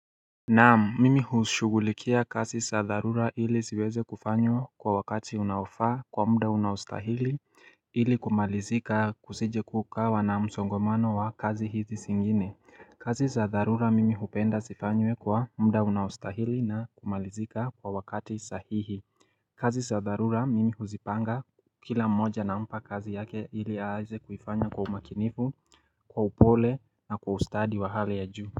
Naamu, mimi hushughulikia kazi za dharura ili ziweze kufanywa kwa wakati unaofaa kwa muda unaostahili ili kumalizika kusijekukawa na msongomano wa kazi hizi zingine. Kazi za dharura mimi hupenda zifanywe kwa mda unaostahili na kumalizika kwa wakati sahihi. Kazi za dharura mimi huzipanga kila mmoja nampa kazi yake ili aaze kuifanya kwa umakinifu, kwa upole na kwa ustadi wa hali ya juu.